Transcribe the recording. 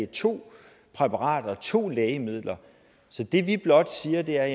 to præparater to lægemidler det vi blot siger er